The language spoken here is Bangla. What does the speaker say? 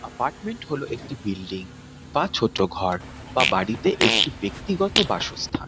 এপার্টমেন্ট হলো একটি বিল্ডিং বা ছোট ঘর বা বাড়িতে একটি ব্যাক্তিগত বাসস্থান ।